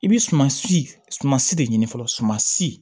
I bi suman si suman si de ɲini fɔlɔ suman si